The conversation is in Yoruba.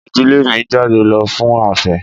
Ìdílé mi ń jáde lọ fún afé.